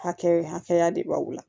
Hakɛ hakɛya de b'aw la